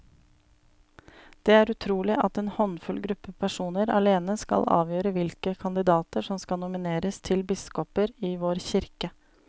Det er utrolig at en håndfull gruppe personer alene skal avgjøre hvilke kandidater som skal nomineres til biskoper i vår kirke.